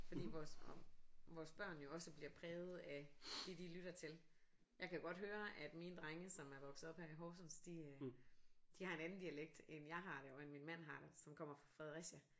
Fordi vores vores børn jo også bliver præget af det de lytter til jeg kan godt høre at mine drenge som er vokset op her i Horsens de øh de har en anden dialekt end jeg har jo og end min mand har som kommer fra Fredericia